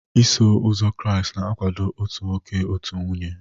Iso Ụzọ Kraịst na-akwado otu nwoke, otu nwunye